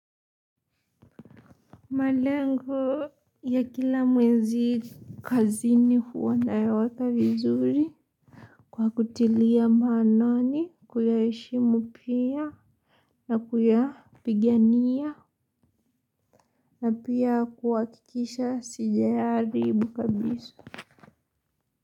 Malengo ya kila mwezi kazini huwa nayaweka vizuri. Kwa kutilia maanani kuyaheshimu pia na kuyapigania. Na pia kuhakikisha sijayaharibu kabisa.